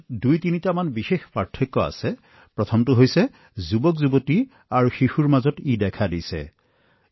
দুটা বা তিনিটা পাৰ্থক্য আছে প্ৰথমতে ই যুৱচাম আৰু শিশুসকলৰ মাজত সামান্য দৃশ্যমান হয়